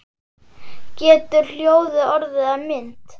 Getur hljóð orðið að mynd?